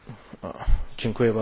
Pani Przewodnicząca!